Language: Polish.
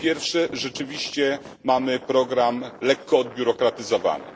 Po pierwsze, rzeczywiście mamy program lekko odbiurokratyzowany.